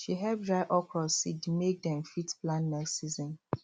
she help dry okra seed make dem fit plant next season